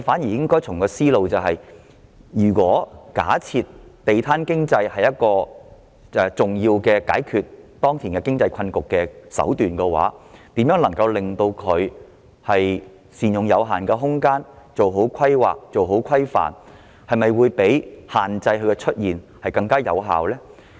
正確的思路應該是，假設"地攤經濟"是解決當前經濟困局的一種重要手段，那麼善用有限空間做好規劃和規範相比限制地攤出現，是否更有效呢？